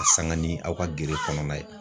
a sanga ni aw ka gere kɔnɔna ye.